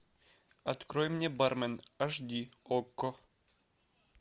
открой мне бармен аш ди окко